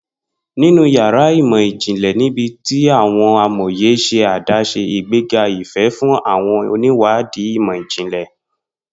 Ninu yàrá imọ-jinlẹ, nibiti awọn amoye ṣe adaṣe, igbega ifẹ fun awọn oniwadi imọ-jinlẹ.